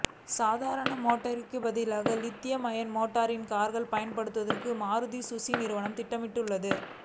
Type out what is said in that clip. சாதாரண பேட்டரிக்கு பதிலாக லித்தியம் அயான் பேட்டரியை கார்களில் பயன்படுத்துவதற்கு மாருதி சுஸுகி நிறுவனம் திட்டமிட்டுள்ளது